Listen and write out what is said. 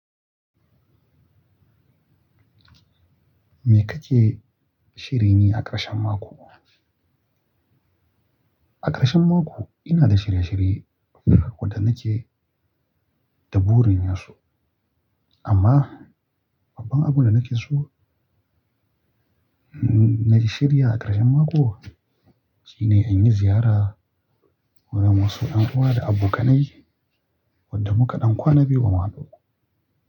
Me kake shirin yi a ƙarshen mako? A ƙarshen mako ina da shirye-shirye waɗanda nake da burin yin su. Amma babban abun da nake so, na shirya a ƙarshen mako shine in yi ziyara wa na masu ƴan'uwa da abokanai waɗanda muka ɗan kwana biyu ba mu haɗu ba.